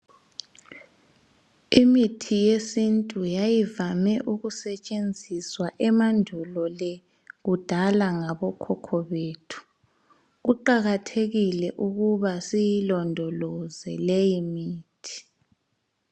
Imithi yesintu yayivame ukusetshenziswa emandulo le kudala ngabokhokho bethu. Kuqakathekile ukuba siyilondoloze leyimithi.